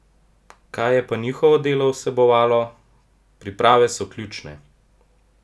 Kaj je pa njihovo delo vsebovalo: "Priprave so ključne.